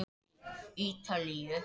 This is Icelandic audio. Vinnustöðvun vélstjóra hjá Hafró